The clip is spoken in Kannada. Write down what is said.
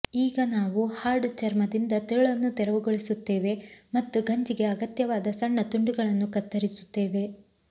ಈಗ ನಾವು ಹಾರ್ಡ್ ಚರ್ಮದಿಂದ ತಿರುಳನ್ನು ತೆರವುಗೊಳಿಸುತ್ತೇವೆ ಮತ್ತು ಗಂಜಿಗೆ ಅಗತ್ಯವಾದ ಸಣ್ಣ ತುಂಡುಗಳನ್ನು ಕತ್ತರಿಸುತ್ತೇವೆ